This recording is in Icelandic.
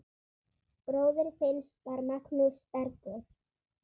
Bróðir Finns var Magnús Bergur.